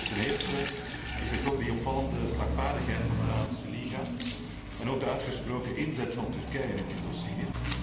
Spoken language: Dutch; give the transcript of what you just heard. Ten eerste is er toch die opvallende slagvaardigheid van de Arabische liga en ook de uitgesproken inzet van Turkije in dit dossier.